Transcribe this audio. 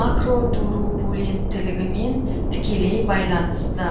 макротурбуленттілігімен тікелей байланысты